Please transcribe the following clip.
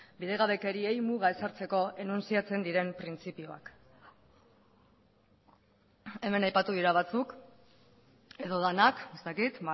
bidegabekeriei muga ezartzeko enuntziatzen diren printzipioak hemen aipatu dira batzuk edo denak ez dakit